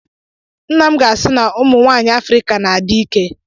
Nna m ga-asị na ụmụ nwanyị Afrịka na-adị ike.